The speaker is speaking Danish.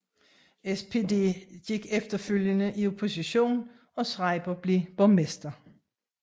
SPD gik efterfølgende i opposition og Schreiber blev borgmester